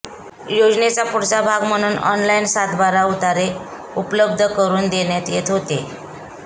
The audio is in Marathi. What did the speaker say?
योजनेचा पुढचा भाग म्हणून ऑनलाइन सातबारा उतारे उपलब्ध करून देण्यात येत होते